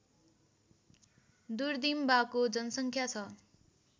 दुर्दिम्बाको जनसङ्ख्या छ